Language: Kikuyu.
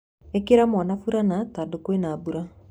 Ĩkĩra mwana furana tondũ kwĩna mbura.